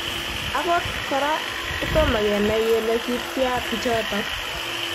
Angot kora kotomo. kenai kole kityaa pichotok